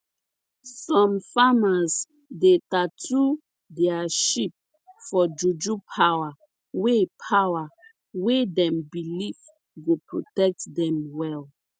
some farmers dey tattoo their sheep for juju power wey power wey dem believe go protect them well